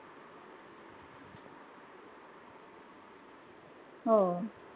हो.